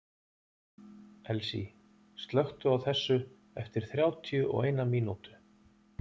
Elsie, slökktu á þessu eftir þrjátíu og eina mínútur.